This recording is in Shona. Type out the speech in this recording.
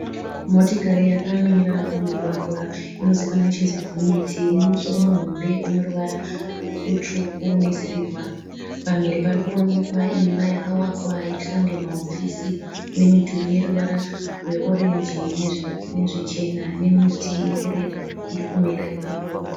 Motikari yakamira pamumugwagwa inozivikanwa ichinzi gonyeti. Ine musoro muhombe ine ruvara rutsvuku nesirivha. Pamhiri pari kuonekwa imba yakavakwa ichiita kunge mahofisi ine midhuri yeruvara rweorenji nezvichena nemiti iri kureba iri kumera ipapo.